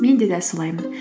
мен де дәл солаймын